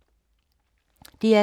DR2